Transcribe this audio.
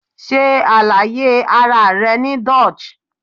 se alaye ara re ni Dutch